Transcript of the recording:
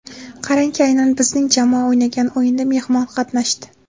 Qarangki, aynan bizning jamoa o‘ynagan o‘yinda mehmon qatnashdi.